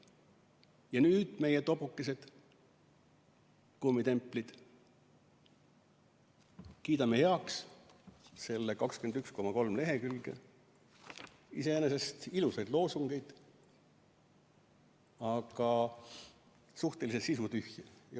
Ja nüüd meie, tobukesed, kummitemplid, kiidame heaks selle 21,3 lehekülge iseenesest ilusaid, aga suhteliselt sisutühje loosungeid.